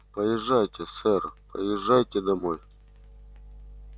поезжайте сэр поезжайте домой